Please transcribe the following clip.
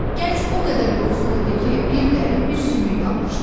Gənc o qədər yoxsul idi ki, bir dəri, bir sümük qalmışdı.